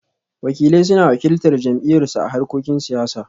Wakilai suna wakiltar jam'iyyarsu a harkokin siyasa